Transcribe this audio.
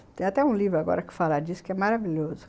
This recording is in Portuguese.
Tem até um livro agora que fala disso, que é maravilhoso.